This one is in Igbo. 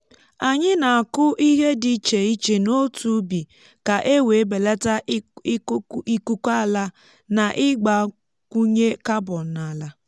anyị na-akụ ihe dị iche iche n’otu ubi ka e wee belata ikuku ala na ịgbakwunye carbon n’ala.